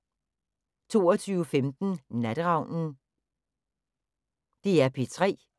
DR P3